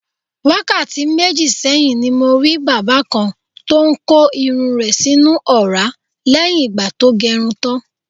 Wákàtí méjì sé̩yìn ni mo rí bàbá kan tó ń ko irun rè̩ sínú ò̩rá lé̩yìn ìgbà tó ge̩run tán.